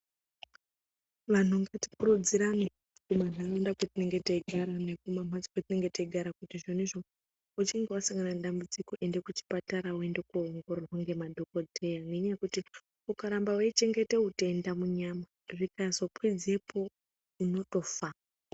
Vanhu ngatikurudzirane kumanharaunda kwatinenge teigara nekumamhatso kwetinenge teigara kuti izvonizvo kuti uchinge wasangana nedambudziko ende kuchipatara. Woende kuoongororwa ngemadhogodheya nenyaya yekuti ukaramba weichengete utenda munyama, zvikazokwidzepo unotofa.